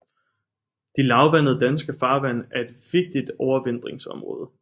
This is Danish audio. De lavvandede danske farvande er et vigtigt overvintringsområde